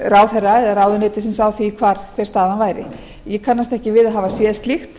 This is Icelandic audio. ráðherra eða ráðuneytisins á því hver staðan væri ég kannast ekki við að hafa séð slíkt